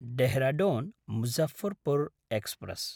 Dehradun Muzaffarpur express